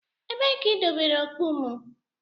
Ebee ka idobere okpu m?